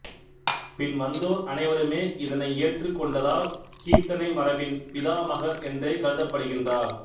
பின் வந்தோர் அனைவருமே இதனை ஏற்றுக் கொண்டதால் கீர்த்தனை மரபின் பிதாமகர் என்றே கருதப்படுகின்றார்